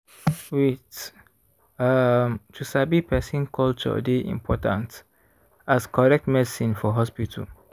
wait- ummm to sabi person culture dey important as correct medicine for hospital.